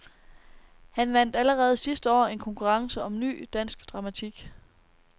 Han vandt allerede sidste år en konkurrence om ny, dansk dramatik.